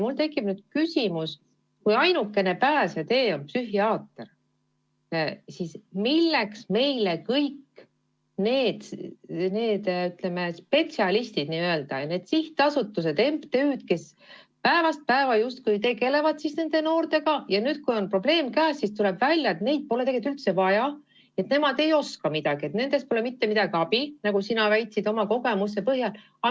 Mul tekib küsimus, et kui ainukene pääsetee on psühhiaater, siis milleks meile kõik need teised spetsialistid, need sihtasutused, MTÜ-d, kes päevast päeva justkui tegelevad nende noortega ja nüüd, kui on probleem, tuleb välja, et neid pole tegelikult üldse vaja, nemad ei oska midagi ja nendest pole mitte mingisugust abi, nagu sina oma kogemuse põhjal väitsid.